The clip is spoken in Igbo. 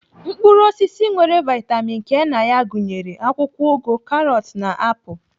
Mkpụrụ osisi nwere vitamin K na ya gụnyere akwụkwọ ụgụ, karọt na na apụl.